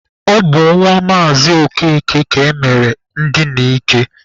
Ọ bụ nwa Maazị Okeke ka emere ndina ike.